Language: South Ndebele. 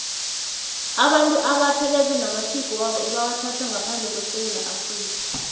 abantu abatjha beza namasiko wabo ebawathatha ngaphandle kwesewula afrika